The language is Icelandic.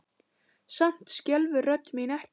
Samt skelfur rödd mín ekki.